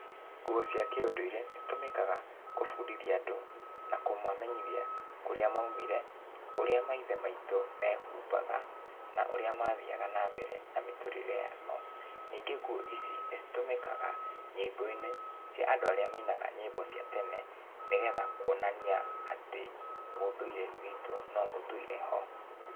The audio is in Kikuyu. Nguo cia kĩũndũire, nĩcitũmĩkaga, kũbundithia andũ na kũmamenyithia kũrĩa maumire, ũrĩa maithe maitũ, mehumabaga, na ũrĩa mathiaga nambere na mĩtũrĩre yao. Ningĩ nguo ici nĩcitũmĩkaga, nyĩmbo-inĩ cia andũ arĩa mainaga nyĩmbo cia tene, nĩgetha kuonania atĩ ũndũire witũ no ũtũire ho.